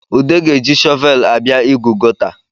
Ude ga-eji shọvel abịa ịgụ gọta